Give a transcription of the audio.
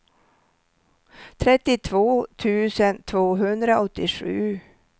trettiotvå tusen tvåhundraåttiosju